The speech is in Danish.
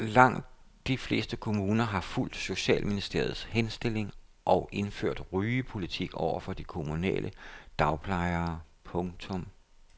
Langt de fleste kommuner har fulgt socialministerens henstilling og indført rygepolitik overfor de kommunale dagplejere. punktum